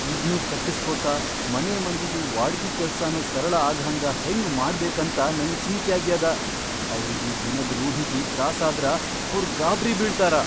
ಇದ್ನೂ ಕಟ್ಟಸ್ಕೋತ ಮನಿಮಂದಿದು ವಾಡಕಿ ಕೆಲ್ಸಾನೂ ಸರಳ ಆಗಹಂಗ ಹೆಂಗ್ ಮಾಡ್ಬೇಕಂತ ನಂಗ್ ಚಿಂತ್ಯಾಗ್ಯಾದ. ಅವ್ರಿಗಿ ದಿನದ್ ರೂಢಿಗಿ ತ್ರಾಸಾದ್ರ ಅವ್ರ್ ಗಾಬ್ರಿ ಬೀಳ್ತಾರ.